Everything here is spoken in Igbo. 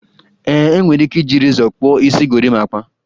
E nwere ike iji rezọ kpụọ isi gorimapa